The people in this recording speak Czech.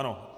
Ano.